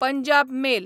Punjab mail